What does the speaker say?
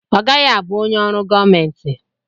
Ọ gaghị abụ onye ọrụ gọọmenti.